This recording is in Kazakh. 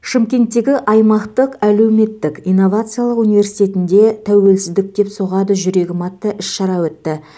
шымкенттегі аймақтық әлеуметтік инновациялық университетінде тәуелсіздік деп соғады жүрегім атты іс шара өтті